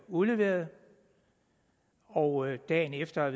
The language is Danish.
udleveret og dagen efter